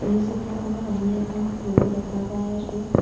এই চিত্ৰখন আমি এখন ফ্লু'ৰ দেখা পাই আছোঁ।